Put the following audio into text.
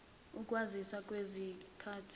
ukwazisa kwezithathi zinqumo